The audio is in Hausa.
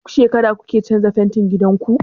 Duk shekara kuke canza fentin gidan ku?